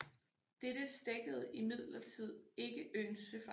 Dette stækkede imidlertid ikke øens søfart